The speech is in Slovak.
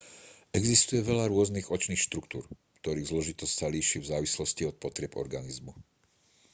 existuje veľa rôznych očných štruktúr ktorých zložitosť sa líši v závislosti od potrieb organizmu